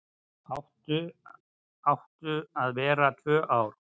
Áttu að vera tvö ár